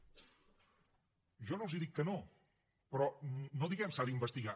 jo no els dic que no però no diguem s’ha d’investigar